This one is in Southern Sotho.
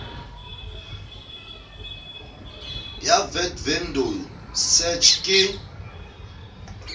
ya vat vendor search ke